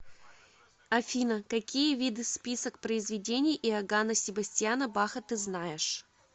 афина какие виды список произведений иоганна себастьяна баха ты знаешь